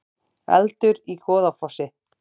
Eldur í Goðafossi